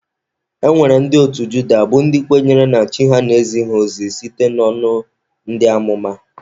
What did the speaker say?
E nwere ndị otu Juda bụ ndị kwenyere na Chi ha na-ezi ha ozi site n'ọnụ ndị amụma.